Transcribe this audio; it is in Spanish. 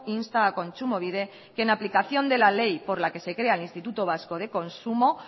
insta a kontsumobide que en aplicación de la ley por la que se crea el instituto vasco de consumo